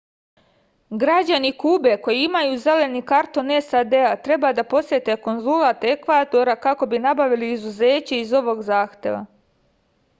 građani kube koji imaju zeleni karton sad treba da posete konzulat ekvadora kako bi nabavili izuzeće iz ovog zahteva